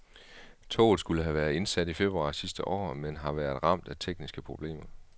Toget skulle have været indsat i februar sidste år, men har været ramt af tekniske problemer.